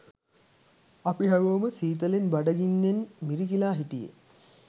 අපි හැමෝම සීතලෙන් බඩ ගින්නෙන් මිරිකිලා හිටියේ.